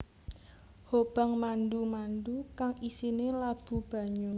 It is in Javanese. Hobang mandu mandu kang isine labu banyu